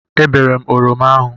Ebere m oroma ahụ.